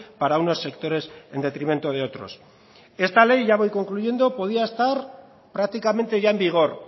para unos sectores en detrimento de otros esta ley ya voy concluyendo podía estar prácticamente ya en vigor